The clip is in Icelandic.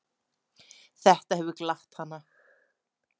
Þetta hefur glatt hana.